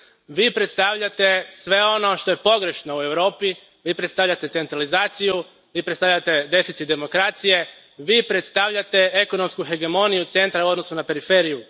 Vi predstavljate sve ono što je pogrešno u Europi, Vi predstavljate centralizaciju, Vi predstavljate deficit demokracije, Vi predstavljate ekonomsku hegemoniju centra u odnosu na periferiju.